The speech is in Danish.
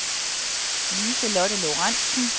Liselotte Lorentzen